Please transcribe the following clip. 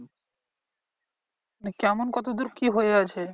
মানে কেমন কতদূর কি হয়ে আছে?